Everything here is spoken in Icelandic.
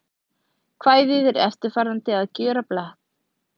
Kvæðið er eftirfarandi: Að gjöra blek